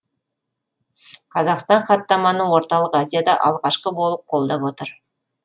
қазақстан хаттаманы орталық азияда алғашқы болып қолдап отыр